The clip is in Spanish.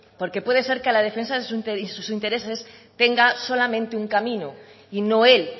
porque puede ser que a la defensa de sus intereses tenga solamente un camino y no el